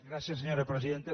gràcies senyora presidenta